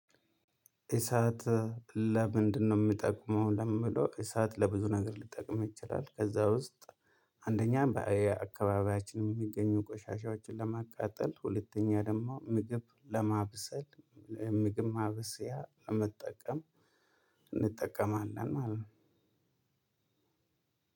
እሳት ለምንድነው የሚጠቅመው? ለሚለው እሳት ለብዙ ነገር ልጠቅም ይችላል ከዛ ውስጥ አንደኛ አካባቢያችንን የሚገኙ ቆሻሻዎችን ለማቃጠል ሁለተኛ ደግሞ ምግብ ለማብሰል ምግብ ማብሰያ ለመጠቀም እንጠቀማለን። ማለት